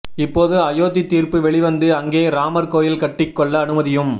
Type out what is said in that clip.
இப்போது அயோத்தி தீர்ப்பு வெளிவந்து அங்கே ராமர் கோயில் கட்டிக் கொள்ள அனுமதியும்